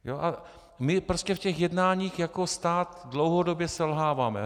A my prostě v těch jednáních jako stát dlouhodobě selháváme.